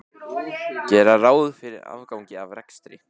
Gera ráð fyrir afgangi af rekstri